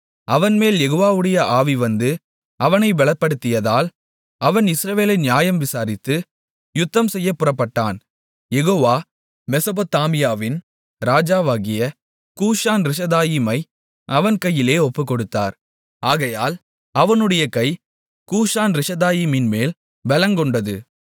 அவன்மேல் யெகோவாவுடைய ஆவி வந்து அவனை பெலப்படுத்தியதால் அவன் இஸ்ரவேலை நியாயம் விசாரித்து யுத்தம்செய்யப் புறப்பட்டான் யெகோவா மெசொப்பொத்தாமியாவின் ராஜாவாகிய கூசான்ரிஷதாயீமை அவன் கையிலே ஒப்புக்கொடுத்தார் ஆகையால் அவனுடைய கை கூசான்ரிஷதாயீமின்மேல் பெலங்கொண்டது